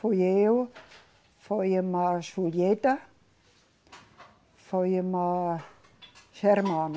Fui eu, foi irmã Julieta, foi irmã Germana.